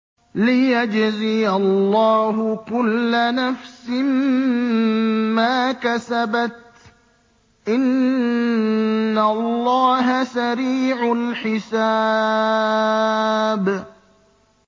لِيَجْزِيَ اللَّهُ كُلَّ نَفْسٍ مَّا كَسَبَتْ ۚ إِنَّ اللَّهَ سَرِيعُ الْحِسَابِ